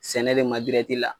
Sɛnɛ de ma la